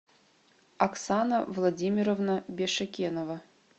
оксана владимировна бешекенова